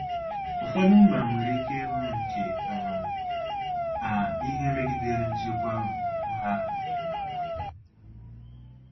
Ụfọdụ mba nwere ike ịhụ nke um a ihe megidere nchekwa um ha